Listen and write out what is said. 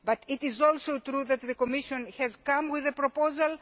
but it is also true that the Commission has come up with a proposal.